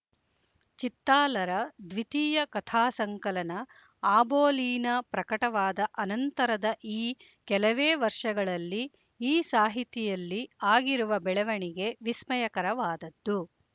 ಚಿತ್ತಾಲರ ದ್ವಿತೀಯ ಕಥಾಸಂಕಲನ ಆಬೋಲೀನ ಪ್ರಕಟವಾದ ಅನಂತರದ ಈ ಕೆಲವೇ ವರ್ಷಗಳಲ್ಲಿ ಈ ಸಾಹಿತಿಯಲ್ಲಿ ಆಗಿರುವ ಬೆಳವಣಿಗೆ ವಿಸ್ಮಯಕರವಾದದ್ದು